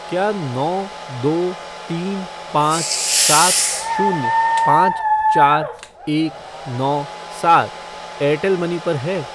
क्या नौ दो तीन पाँच सात शून्य पाँच चार एक नौ सात एयरटेल मनी पर है?